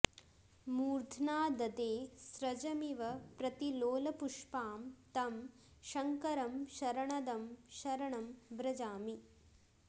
मूर्ध्नाऽऽददे स्रजमिव प्रतिलोलपुष्पां तं शङ्करं शरणदं शरणं व्रजामि